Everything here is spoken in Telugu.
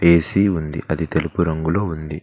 ఎ_సి ఉంది అది తెలుపు రంగులో ఉంది.